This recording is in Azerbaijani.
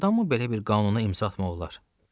Doğrudanmı belə bir qanuna imza atmaq olar?